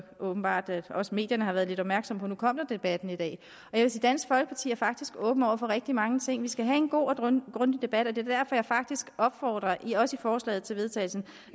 åbenbart også medierne har været lidt opmærksomme på at nu kom den debat i dag at dansk folkeparti faktisk er åbne over for rigtig mange ting vi skal have en god og grundig debat og det er derfor jeg faktisk opfordrer også i forslaget til vedtagelse